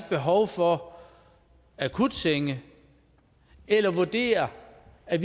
behov for akutsenge eller vurdere at